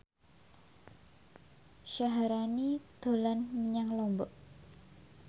Syaharani dolan menyang Lombok